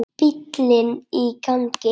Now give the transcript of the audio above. Bíllinn í gangi.